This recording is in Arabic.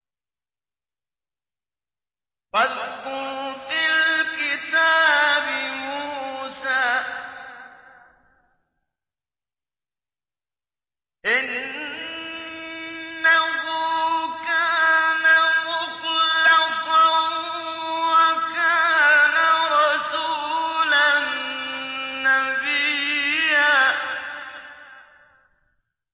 وَاذْكُرْ فِي الْكِتَابِ مُوسَىٰ ۚ إِنَّهُ كَانَ مُخْلَصًا وَكَانَ رَسُولًا نَّبِيًّا